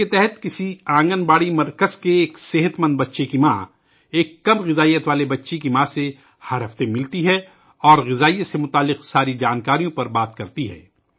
اس کے تحت کسی آنگن واڑی سنٹر سے کسی صحت مند بچے کی ماں ایک تغذیہ کی کمی والے بچے کی ماں سے ہر ہفتے ملتی ہے اور تغذیہ سے متعلق تمام معلومات پر تبادلۂ خیال کرتی ہے